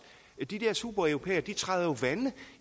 de der supereuropæere træder vande